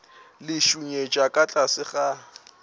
le šunyetša ka tlase ga